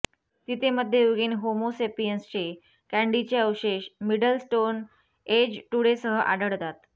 तिथे मध्ययुगीन होमो सेपियन्सचे कँडीचे अवशेष मिडल स्टोन एज टूडेसह आढळतात